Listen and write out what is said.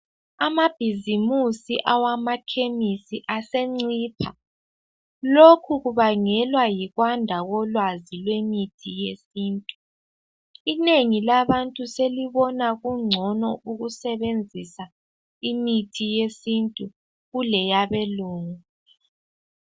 Amabhizimusi awakhemisi asencipha, lokhu kubangelwa yikwanda kolwazi lwemithi yesintu inengi labantu selibona kungcono ukusebenzisa imithi yesintu kuleyabelungu.